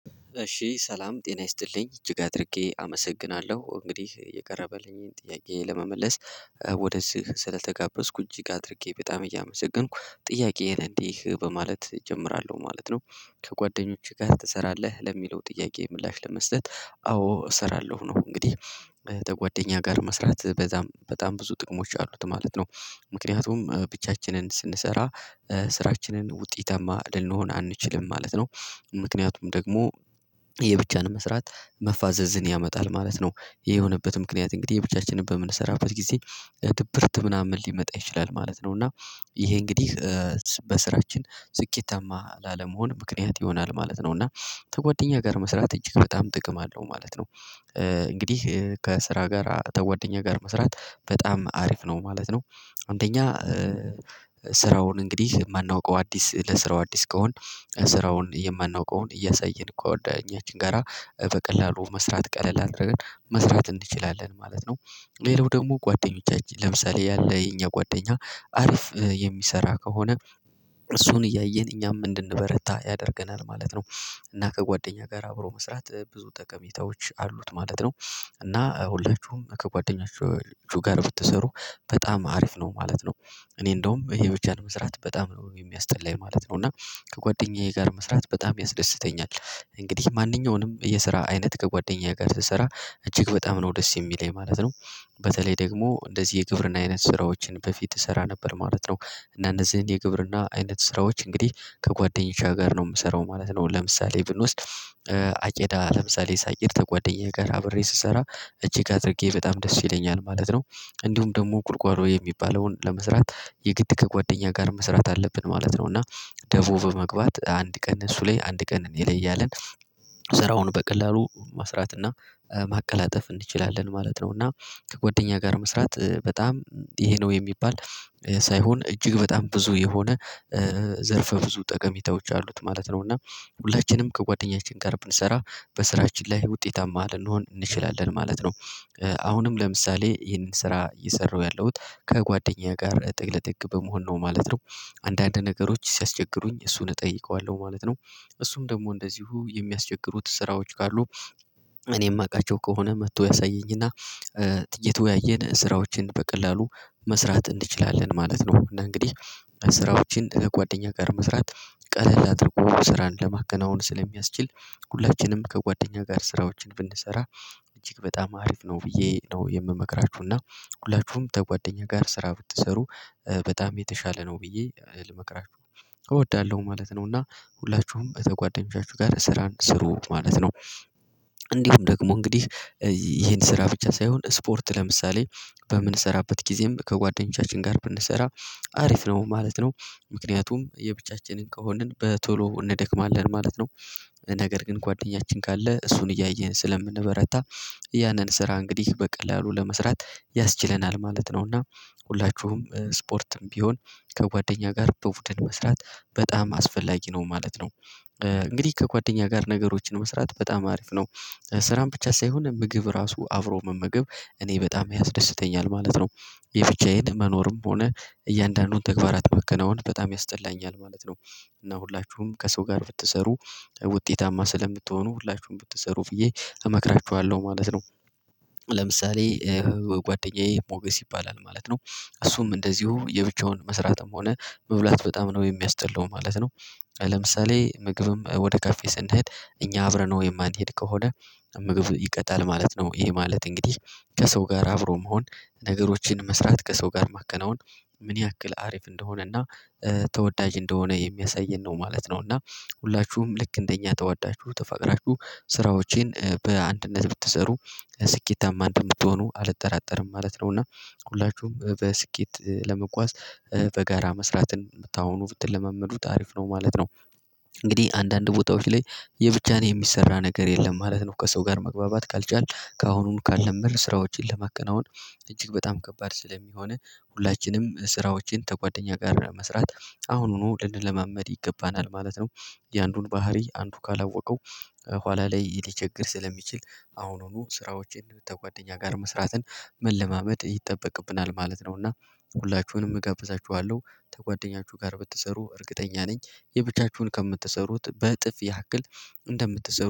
እሺ ሰላም ጤና ይስጥልኝ እጅግ አድርጌ አመሰግናለሁ እንግዲህ የቀረበልኝን ጥያቄ ለመመለስ ወደዚህ ስለተጋበዝኩ እጅግ አድርጌ በጣም እያመሰገንኩ ጥያቄዬን እንዲህ በማለት እጀምራለሁ ማለት ነው። ከጓደኞቼህ ጋር ትሰራለህ? ለሚለው ጥያቄ ምላሽ ለመስጠት አዎ እሰራለሁ ነው። እንግዲህ ከጓደኛ ጋር መስራት በጣም በጣም ብዙ ጥቅሞች አሉት ማለት ነው። ምክንያቱም ብቻችንን ስንሰራ ስራችንን ውጤታማ ልንሆን አንችልም ማለት ነው። ምክንያቱም ደግሞ የብቻን መስራት መፋዘዝን ያመጣል ማለት ነው። ይሄ የሆነበት ምክንያት እንግዲህ የብቻችንን በምንሰራበት ጊዜ ድብርት ምናምን ሊመጣ ይችላል ማለት ነው። እና ይሄ እንግዲህ በሥራችን ስኬታማ ላለመሆን ምክንያት ይሆናል ማለት ነው። እና ከጓደኛ ጋር መስራት እጅግ በጣም ጥቅም አለው ማለት ነው። እንግዲህ ከስራ ጋር ከጓደኛ ጋር መስራት በጣም አሪፍ ነው ማለት ነው። አንደኛ ስራውን እንግዲህ የማናውቀው አዲስ ለሥራው አዲስ ከሆን ስራውን የማናውቀውን እያሳየን ጓደኛችን ጋራ በቀላሉ መስራት ቀለል አድርገን መስራት እንችላለን ማለት ነው። ሌላው ደግሞ ጓደኞቻችን ለምሳሌ ያለ የኛ ጓደኛ አሪፍ የሚሰራ ከሆነ እሱን እያየን እኛም እንድንበረታ ያደርገናል ማለት ነው። እና ከጓደኛ ጋር አብሮ መስራት ብዙ ጠቀሜታዎች አሉት ማለት ነው። እና ሁላችሁም ከጓደኞቻችሁ ጋር ብትሰሩ በጣም አሪፍ ነው ማለት ነው። እኔ እንደውም የብቻን መስራት በጣም ነው የሚያስጠላኝ ማለት ነው። እና ከጓደኛዬ ጋር መስራት በጣም ያስደስተኛል እንግዲህ ማንኛውንም የስራ አይነት ከጓደኛዬ ጋር ስሰራ እጅግ በጣም ነው ደስ የሚለኝ ማለት ነው። በተለይ ደግሞ እንደዚህ የግብርና አይነት ስራዎችን በፊት እሰራ ነበር ማለት ነው። እና እንደዚህን የግብርና አይነት ስራዎች እንግዲህ ከጓደኞቼ ጋር ነው የምሰራው ማለት ነው። ለምሳሌ ብንወስድ አጨዳ ለምሳሌ ሳጭድ ከጓደኛዬ ጋር አብሬ ስሰራ እጅግ አድርጌ በጣም ደስ ይለኛል ማለት ነው። እንዲሁም ደግሞ ጉልጓሎ የሚባለውን ለመስራት የግድ ከጓደኛ ጋር መስራት አለብን ማለት ነው። እና ደቮ በ መግባት አንድ ቀን እሱ ላይ አንድ ቀን እኔ ላይ እያልን ስራውን በቀላሉ መስራት እና ማቀላጠፍ እንችላለን ማለት ነው። እና ከጎደኛ ጋር መስራት በጣም ይሄ ነው የሚባል ሳይሆን እጅግ በጣም ብዙ የሆነ ዘርፈ ብዙ ጠቀሜታዎች አሉት ማለት ነው። እና ሁላችንም ከጓደኛችን ጋር ብንሠራ በሥራችን ላይ ውጤታማ ልንሆን እንችላለን ማለት ነው። አሁንም ለምሳሌ ይህንን ስራ እየሰራሁ ያለሁት ከጓደኛዬ ጋር ጥግ ለጥግ በመሆን ነው ማለት ነው። አንዳንድ ነገሮች ሲያስቸግሩኝ እሱን እጠይቀዋለሁ ማለት ነው። እሱም ደግሞ እንደዚሁ የሚያስቸግሩት ስራዎች ካሉ እኔ የማውቃቸው ከሆነ መጥቶ ያሳየኝና እየተወያየን ስራዎችን በቀላሉ መስራት እንድችላለን ማለት ነው። እና እንግዲህ ስራዎችን ከጓደኛ ጋር መስራት ቀለል አድርጎ ስራን ለማከናወን ስለሚያስችል ሁላችንም ከጓደኛ ጋር ስራዎችን ብንሠራ እጅግ በጣም አሪፍ ነው ብዬ ነው የምመክራችሁ። እና ሁላችሁም ከጓደኛ ጋር ስራ ብትሠሩ በጣም የተሻለ ነው ብዬ ልመክራችሁ እወዳለሁ ማለት ነው። እና ሁላችሁም ከጓደኞቻችሁ ጋር ስራን ሥሩ ማለት ነው። እንዲሁም ደግሞ እንግዲህ ይሄን ስራ ብቻ ሳይሆን ስፖርት ለምሳሌ በምንሰራበት ጊዜም ከጓደኞቻችን ጋር ብንሠራ አሪፍ ነው ማለት ነው። ምክንያቱም የብቻችንን ከሆንን በቶሎ እንደክማለን ማለት ነው። ነገር ግን ጓደኛችን ካለ እሱን እያየን ስለምንበረታ ያንን ስራ እንግዲህ በቀላሉ ለመስራት ያስችለናል ማለት ነው። እና ሁላችሁም ስፖርትም ቢሆን ከጓደኛ ጋር በቡድን መስራት በጣም አስፈላጊ ነው ማለት ነው። እንግዲህ ከጓደኛ ጋር ነገሮችን መስራት በጣም አሪፍ ነው። ስራን ብቻ ሳይሆን ምግብ ራሱ አብሮ መመገብ እኔ በጣም ያስደስተኛል ማለት ነው። የብቻዬን መኖርም ሆነ እያንዳንዱን ተግባራት ማከናወን በጣም ያስጠላኛል ማለት ነው። እና ሁላችሁም ከሰው ጋር ብትሠሩ ውጤታማ ስለምትሆኑ ሁላችሁም ብትሠሩ ብዬ እመክራችዋለሁ ማለት ነው። ለምሳሌ ጓደኛዬ ሞገስ ይባላል ማለት ነው። እሱም እንደዚሁ የብቻውን መሥራትም ሆነ መብላት በጣም ነው የሚያስጠላው ማለት ነው። ለምሳሌ ምግብም ወደ ካፌ ስንሄድ እኛ አብረነው የማንሄድ ከሆነ ምግብ ይቀጣል ማለት ነው። ይሄ ማለት እንግዲህ ከሰው ጋር አብሮ መሆን ነገሮችን መስራት ከሰው ጋር ማከናወን ምን ያክል አሪፍ እንደሆነ እና ተወዳጅ እንደሆነ የሚያሳየን ነው ማለት ነው። እና ሁላችሁም ልክ እንደኛ ተወዳችሁ ተፈቅራችሁ ስራዎቼን በአንድነት ብትሠሩ ስኬታማ እንደምትሆኑ አልጠራጠርም ማለት ነው። እና ሁላችሁም በስኬት ለመጓዝ በጋራ መስራትን ከአሁኑ ብትለመምዱት አሪፍ ነው ማለት ነው። እንግዲህ አንዳንድ ቦታዎች ላይ የብቻ የሚሰራ ነገር የለም ማለት ነው። ከሰው ጋር መግባባት ካልቻልን ከአሁኑን ካለመድን ስራዎችን ለማከናወን እጅግ በጣም ከባድ ስለሚሆን ሁላችንም ስራዎችን ከጓደኛ ጋር መስራት አሁኑኑ ልንለማመድ ይገባናል ማለት ነው። የአንዱን ባህሪ አንዱ ካላወቀው ኋላ ላይ ሊቸገር ስለሚችል አሁኑኑ ስራዎችን ከጓደኛ ጋር መስራትን መለማመድ ይጠበቅብናል ማለት ነው። እና ሁላችሁንም እጋብዛችኋለሁ ከጓደኛችሁ ጋር ብትሠሩ እርግጠኛ ነኝ የብቻችሁን ከምትሠሩት በእጥፍ ያክል እንደምትሠሩ